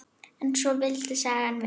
En svona vildi sagan vera